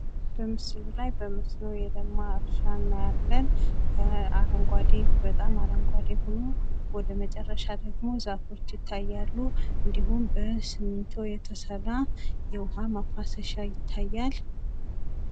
በምስሉ ላይ በመስኖ የለማ እርሻ እናያለን። አረንጓዴ በጣም አረንጓዴ ሆኖ ወደመጨረሻ ደሞ ዛፎች ይታያሉ ። እንዲሁም በሲሚንቶ የተሰራ የዉሀ ማፋሰሻ ይታያል።